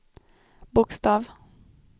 bokstav